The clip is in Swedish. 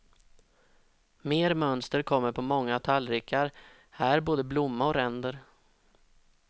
Mer mönster kommer på många tallrikar, här både blomma och ränder.